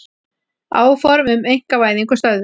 Áform um einkavæðingu stöðvuð